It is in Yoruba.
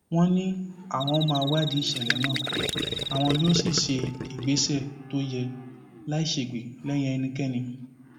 wọn ní àwọn máa wádìí ìṣẹlẹ náà àwọn yóò sì gbé ìgbésẹ tó yẹ láì ṣègbè lẹyìn ẹnikẹni